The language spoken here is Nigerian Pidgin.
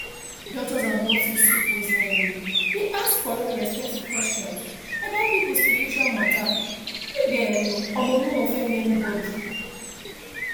doctors and nurses suppose um dey ask correct respectful question about people spiritual matter make dem um no offend anybody